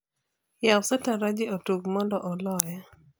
yaw sataranji otug mondo oloya